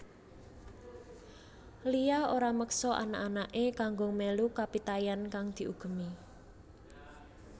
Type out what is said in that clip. Lia ora meksa anak anaké kanggo mélu kapitayan kang diugemi